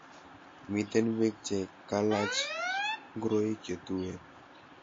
Miten Pik che kalaj ngoroik che tuen .